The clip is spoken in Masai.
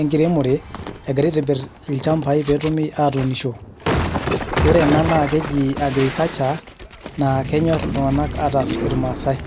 enkiremore, egirai aitibir ilchambai petumi atuunisho. Ore ena naa keji agriculture, naa kenyor iltung'anak ataas irmaasai.